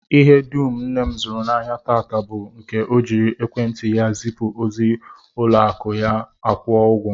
Ihe dum nne m zụrụ n'ahịa taa bụ nke ọ jiri ekwentị ya zipụ ozi, ụlọakụ ya akwụọ ụgwọ